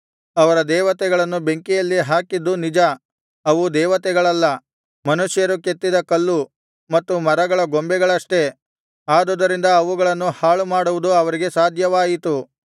ಅವರ ದೇವತೆಗಳನ್ನು ಬೆಂಕಿಯಲ್ಲಿ ಹಾಕಿದ್ದು ನಿಜ ಅವು ದೇವತೆಗಳಲ್ಲ ಮನುಷ್ಯರು ಕೆತ್ತಿದ ಕಲ್ಲು ಮತ್ತು ಮರಗಳ ಬೊಂಬೆಗಳಷ್ಟೇ ಆದುದರಿಂದ ಅವುಗಳನ್ನು ಹಾಳುಮಾಡುವುದು ಅವರಿಗೆ ಸಾಧ್ಯವಾಯಿತು